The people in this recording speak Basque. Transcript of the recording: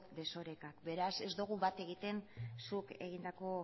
desoreka beraz ez dugu bat egiten zuk egindako